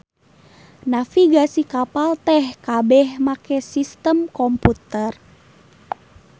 Navigasi kapal teh kabeh make sistem komputer.